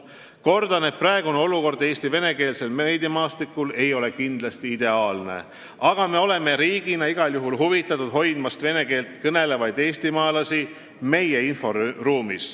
" Kordan, et praegune olukord Eesti venekeelsel meediamaastikul ei ole kindlasti ideaalne, aga me oleme riigina igal juhul huvitatud vene keeles kõnelevate eestimaalaste meie inforuumis hoidmisest.